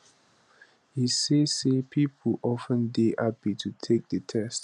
e say say pipo of ten dey happy to take di test